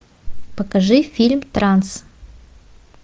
покажи фильм транс